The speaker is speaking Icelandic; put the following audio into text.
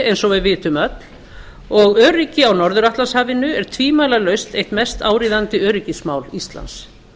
eins og við vitum öll og öryggi á norður atlantshafinu er tvímælalaust eitt mest áríðandi öryggismál íslands